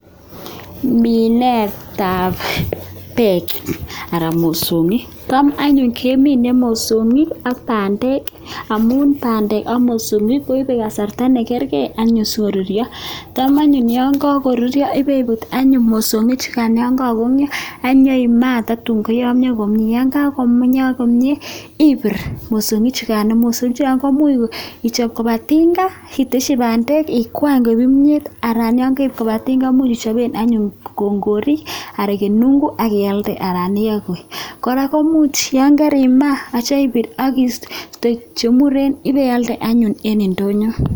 minet ap peek ak mosongik ak pandek amun pandek ak mosongik koipe kasarta nekerke sokoruryo ya karuryo anyun kopiput mososngik kokakoyamya akima akoi koyamya kapsa iip kopa tinga akituye ak pandek ikwany myet akichape kongorik ana ipir ako pialde ing ndonyo.